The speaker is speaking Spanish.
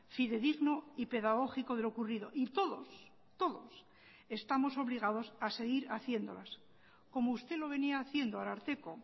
fidedigno y pedagógico de lo ocurrido y todos todos estamos obligados a seguir haciéndolas como usted lo venía haciendo ararteko